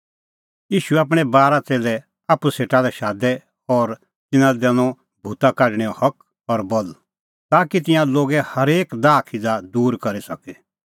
ईशू आपणैं बारा च़ेल्लै आप्पू सेटा लै शादै और तिन्नां लै दैनअ भूता काढणेंओ हक और बल ताकि तिंयां लोगे हरेक दाहखिज़ा दूर करी सके